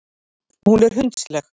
Hún er hundsleg.